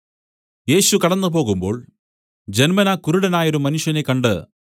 യേശു കടന്നുപോകുമ്പോൾ ജന്മനാ കുരുടനായൊരു മനുഷ്യനെ കണ്ട്